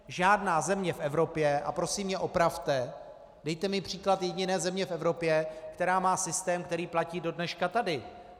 Žádná země v Evropě, a prosím mě opravte, dejte mi příklad jediné země v Evropě, která má systém, který platí do dneška tady.